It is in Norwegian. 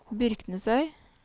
Byrknesøy